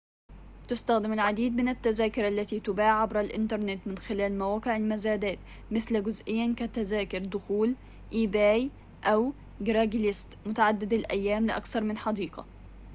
تُستخدم العديد من التذاكر التي تُباع عبر الإنترنت من خلال مواقع المزادات مثل ebay أو craiglist جزئياً كتذاكر دخول متعددة الأيام لأكثر من حديقة